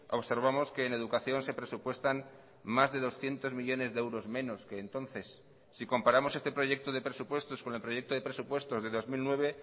observamos que en educación se presupuestan más de doscientos millónes de euros menos que entonces si comparamos este proyecto de presupuestos con el proyecto de presupuestos de dos mil nueve